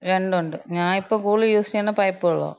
രണ്ടുണ്ട്. ഞാ ഇപ്പം കൂടുതല് യൂസെയ്യുന്നത് പൈപ്പ് വെള്ളാ.